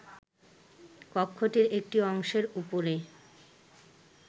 কক্ষটির একটি অংশের উপরে